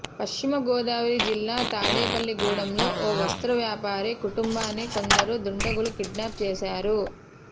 పశ్చిమగోదావరి జిల్లా తాడేపల్లిగూడెంలో ఓ వస్త్ర వ్యాపారి కుటుంబాన్ని కొందరు దుండగులు కిడ్నాప్ చేశారు